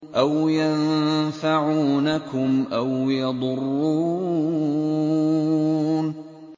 أَوْ يَنفَعُونَكُمْ أَوْ يَضُرُّونَ